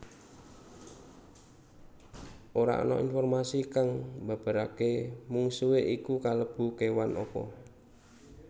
Ora ana informasi kang mbabaraké mungsuhé iku kalebu kéwan apa